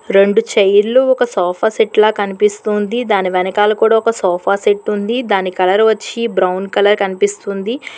రెండు చైర్లు ఒక సోఫా సెట్ల కనిపిస్తోంది దాని వెనకాల కూడా ఒక సోఫా సెట్ ఉంది దాని కలర్ వచ్చి బ్రౌన్ కలర్ కనిపిస్తుంది.